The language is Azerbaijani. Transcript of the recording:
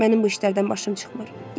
Mənim bu işlərdən başım çıxmır.